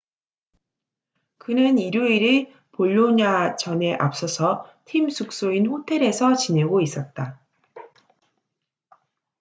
그는 일요일의 볼로냐전에 앞서서 팀 숙소인 호텔에서 지내고 있었다